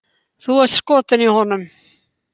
Þú ert skotin í honum!